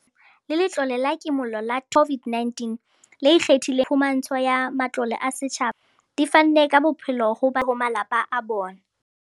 Hodimo ha moo, le Letlole la Kimollo la Thuso ya Setjhaba la COVID-19 le ikgethileng le ho atolosa phumantsho ya matlole a setjhaba a seng a le teng di fanne ka bophelo ho batho ba futsanehileng le ho malapa a bona.